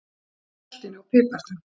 Kryddið með saltinu og piparnum.